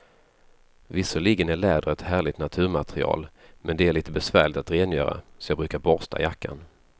Visserligen är läder ett härligt naturmaterial, men det är lite besvärligt att rengöra, så jag brukar borsta jackan.